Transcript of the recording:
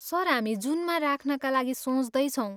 Sir, हामी जुनमा राख्नका लागि सोच्दैछौँ।